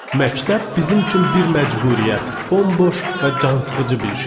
Məktəb bizim üçün bir məcburiyyət, bomboş və cansıxıcı bir şey idi.